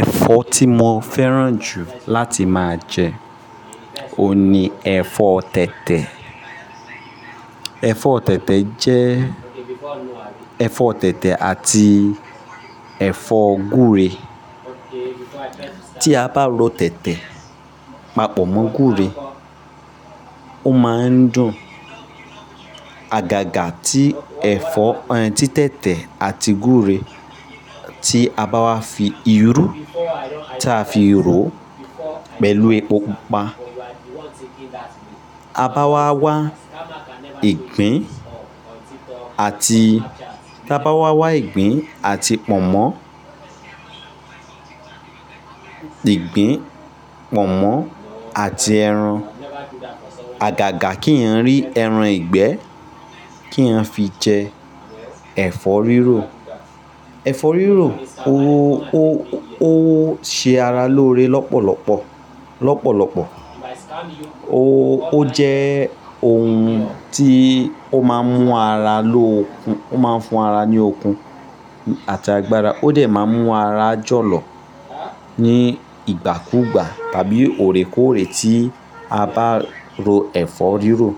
Ẹ̀fọ́ tí mo fẹ́ràn jù láti máa jẹ, òun ni ẹ̀fọ́ tètè. Ẹ̀fọ́ tètè jẹ́ ẹ̀fọ́ tètè àti ẹ̀fọ́ gúre. Tí a bá ro tètè papọ̀ mọ́ gúre, ó máa ń dùn. Àgàgà tí ẹ̀fọ́, tí tètè àti gúre tí a bá wá fi irú tí a fi ro pẹ̀lú epo pupa, a bá wá wá ìgbín àti, bá wá wá ìgbín àti pọ̀nmọ́, ìgbín, pọ̀nmọ́ àti ẹran. Àgàgà kí ì yẹn rí ẹran ìgbẹ́ kí ì yẹn fi jẹ ẹ̀fọ́ rírò. Ẹ̀fọ́ rírò ó, ó, ó ṣe ara lóore lọ́pọ̀lọpọ̀, lọ́pọ̀lọpọ̀. Ó, ó jẹ́ ohun tí ó máa ń mú ara lóòkun, ó máa ń fún ara ní okun àti agbára. Ó dẹ̀ máa ń mú ara jọ̀lọ̀ ní ìgbàkúgbà tàbí òrèkóòrè tí a bá ro ẹ̀fọ́ rírò.